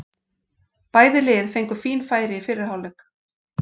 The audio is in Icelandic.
Bæði lið fengu fín færi í fyrri hálfleik.